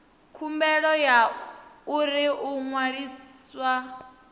khumbelo ya uri u ṅwaliswa